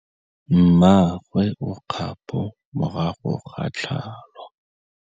Mmagwe o kgapô morago ga tlhalô.